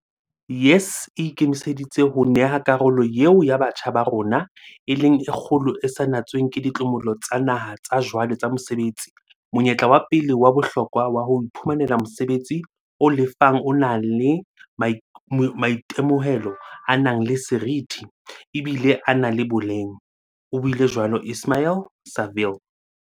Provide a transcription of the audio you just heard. "YES e ikemiseditse ho neha karolo eo ya batjha ba rona, e leng e kgolo e sa natsweng ke dimotlolo tsa naha tsa jwale tsa mosebetsi, monyetla wa pele wa bohlokwa wa ho iphumanela mosebetsi o lefang o nang le maitemohelo a nang le seriti, ebile a na le boleng," o buile jwalo Ismail-Saville.